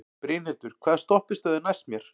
Brynhildur, hvaða stoppistöð er næst mér?